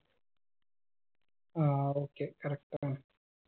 ആ okay correct ആണ്